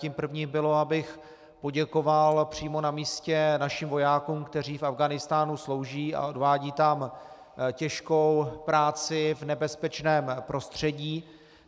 Tím prvním bylo, abych poděkoval přímo na místě našim vojákům, kteří v Afghánistánu slouží a odvádějí tam těžkou práci v nebezpečném prostředí.